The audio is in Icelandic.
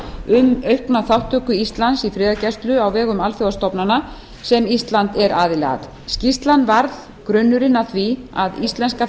um aukna þátttöku íslands í friðargæslu á vegum alþjóðastofnana sem ísland er aðili að skýrslan varð grunnurinn að því að íslenska